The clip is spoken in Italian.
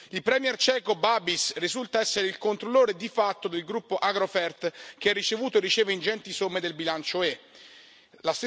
Il premier ceco Babiš risulta essere il controllore, di fatto, del gruppo Agrofert, che ha ricevuto e riceve ingenti somme del bilancio UE.